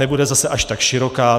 Nebude zase až ta široká.